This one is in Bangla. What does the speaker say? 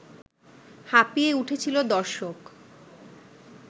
হাঁপিয়ে উঠেছিল দর্শক